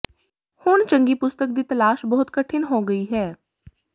ਹੁਣ ਚੰਗੀ ਪੁਸਤਕ ਦੀ ਤਲਾਸ਼ ਬਹੁਤ ਕਠਿਨ ਹੋ ਗਈ ਹੈ